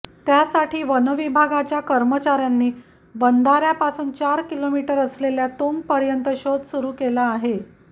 त्यासाठी वनविभागाच्या कर्मचाऱ्यांनी बंधाऱ्यापासून चार किलोमीटर असलेल्या तुंगपर्यत शोध सुरु केला आहे